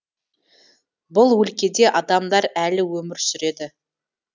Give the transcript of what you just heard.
бұл өлкеде адамдар әлі өмір сүреді